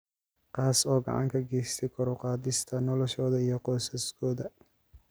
Kaas oo gacan ka geysta kor u qaadista noloshooda iyo qoysaskooda.